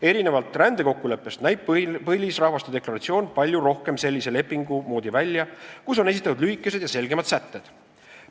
Erinevalt rändekokkuleppest näib põlisrahvaste deklaratsioon palju rohkem sellise lepingu moodi välja, kus on esitatud lühikesed ja selgemad sätted.